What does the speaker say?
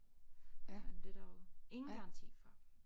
Men det er der jo ingen garanti for